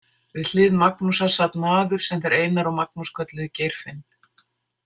Við hlið Magnúsar sat maður sem þeir Einar og Magnús kölluðu Geirfinn.